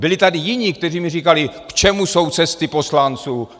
Byli tady jiní, kteří mi říkali: K čemu jsou cesty poslanců?